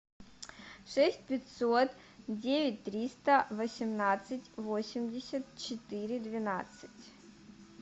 шесть пятьсот девять триста восемнадцать восемьдесят четыре двенадцать